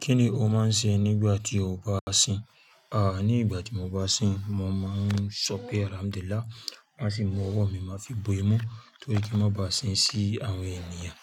Kí ni o máa ń ṣe nígbà tí o bá sìn? Àní nígbà tí mo bá sìn, mo máa ń sọ pé "Alhámdulá". Wọn á sì mú ọwọ́ mi, màá fi bo imú torí pé má bá sìn sí àwọn ènìyàn.